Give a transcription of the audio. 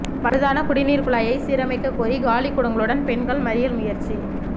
பழுதான குடிநீர் குழாயை சீரமைக்க கோரி காலிக்குடங்களுடன் பெண்கள் மறியல் முயற்சி